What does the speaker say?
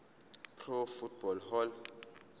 pro football hall